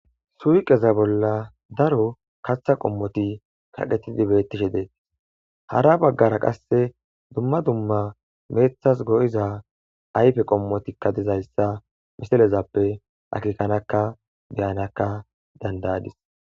Suqeza bolla daro kaththa qommoti kaqetii betishe de'etes. Hara bagara qaase dumma dumma meththas go'iza ayfe qommotikka dizaysa misilezappe akekadaka be'adakka danda'adis.